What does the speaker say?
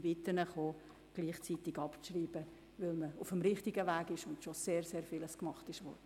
Ich bitte Sie ebenfalls, das Postulat abzuschreiben, da man bereits auf dem richtigen Weg ist und schon sehr vieles getan wurde.